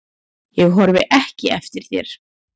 Ég horfi ekki eftir þér.